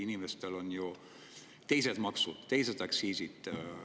Inimestel on teised maksud, teised aktsiisid.